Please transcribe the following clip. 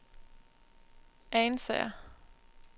Ansager